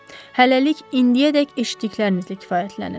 Hələlik indiyədək eşitdiklərinizlə kifayətlənin.